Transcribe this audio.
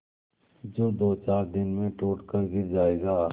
जो दोचार दिन में टूट कर गिर जाएगा